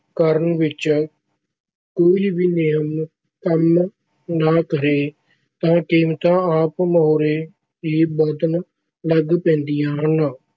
ਕਰਨ ਵਿੱਚ ਕੋਈ ਵੀ ਨਿਯਮ ਕੰਮ ਨਾ ਕਰੇ ਤਾਂ ਕੀਮਤਾਂ ਆਪ ਮੁਹਾਰੇ ਹੀ ਵਧਣ ਲੱਗ ਪੈਂਦੀਆਂ ਹਨ।